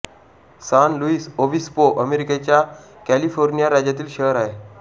San Luis Obispo अमेरिकेच्या California राज्यातील शहर आहे